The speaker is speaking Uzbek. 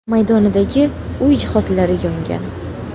maydonidagi uy jihozlari yongan.